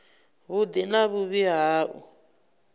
vhuḓi na vhuvhi ha u